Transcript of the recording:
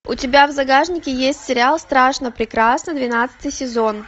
у тебя в загашнике есть сериал страшно прекрасно двенадцатый сезон